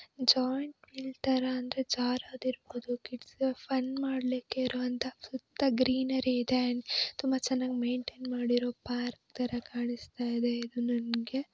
Joint wheel ತರ ಅಂದ್ರೆ ಜಾರೋದಿರಬಹುದು ಕಿಡ್ಸ್ಗೆ ಫನ್ ಮಾಡ್ಲಿಕ್ಕೆ ಇರೋ ಅಂತಾ ಸುತ್ತ ಗ್ರೀನರಿ ಇದೆ ಅಂಡ್ ತುಂಬಾ ಚೆನ್ನಾಗಿ ಮೇಂಟೆನ್ ಮಾಡಿರೋ ಪಾರ್ಕ್ ತರ ಕಾಣಿಸ್ತಿದೆ. ಇದು ನನಗೆ--